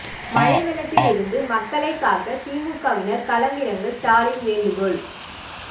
மழை வெள்ளத்தில் இருந்து மக்களைக் காக்க திமுகவினர் களம் இறங்க ஸ்டாலின் வேண்டுகோள்